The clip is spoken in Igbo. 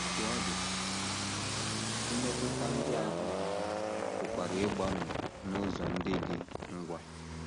Otú ọ dị, mmetụta ndị ahụ pụkwara ịgbanwe n’ụzọ ndị dị ngwa.